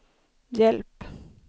hjälp